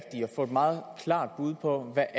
få et meget klart bud på hvad